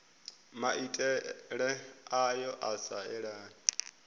maitele ayo a sa elani